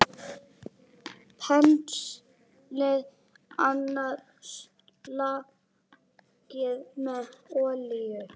Penslið annað slagið með olíu.